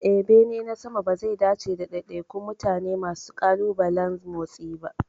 Eh, bene na sama bazai dace da daidaikun mutane masu ƙalubalen motsi ba.